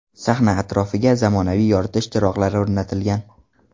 Sahna atrofiga zamonaviy yoritish chiroqlari o‘rnatilgan.